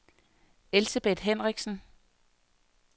Elsebeth Henriksen